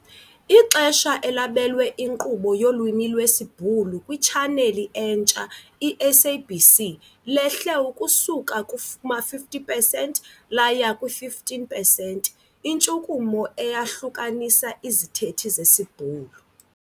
Ixesha elabelwe inkqubo yolwimi lwesiBhulu kwitshaneli entsha, i-SABC 2, lehle ukusuka kuma-50 pesenti laya kwi-15 pesenti - intshukumo eyahlukanisa izithethi zesiBhulu.